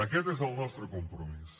aquest és el nostre compromís